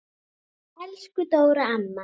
Elsku Dóra amma.